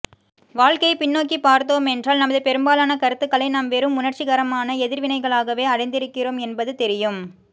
வாழ்க்கையை பின்நோக்கிப்பார்த்தோமென்றால் நமது பெரும்பாலான கருத்துக்களை நாம் வெறும் உணர்ச்சிகரமான எதிர்வினைகளாகவே அடைந்திருக்கிறோம் என்பது தெரியும்